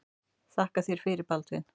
Þakka þér fyrir Baldvin.